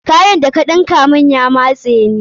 Kayan da ka ɗinka mun ya matse ni.